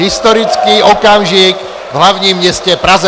Historický okamžik v hlavním městě Praze.